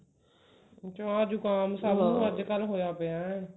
ਜਾ ਜੁਖਾਮ ਸਬ ਨੂੰ ਅੱਜਕਲ ਹੋਇਆ ਪਿਆ